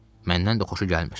Məndən də xoşu gəlmir.